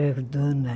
Era dona